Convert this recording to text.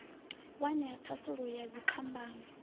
wa nṋea thasululo ya dziphambano